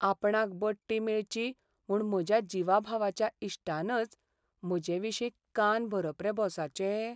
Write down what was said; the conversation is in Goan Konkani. आपणाक बडटी मेळची म्हू्ण म्हज्या जिवाभावाच्या इश्टानच म्हजेविशीं कान भरप रे बॉसाचे!